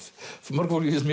mörgu fólki finnst